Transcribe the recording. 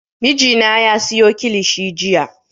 Mijina ya siyo kilishi jiya